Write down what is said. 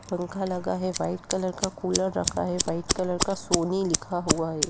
पंखा लगा है व्हाइट कलर का कूलर रखा है व्हाइट कलर का सोनी लिखा हुआ है।